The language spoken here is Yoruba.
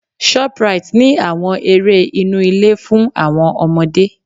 Shoprite ní àwọn eré inú ilé fún àwọn ọmọdé.